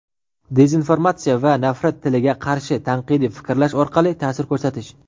Dezinformatsiya va "Nafrat tili"ga qarshi tanqidiy fikrlash orqali taʼsir ko‘rsatish,.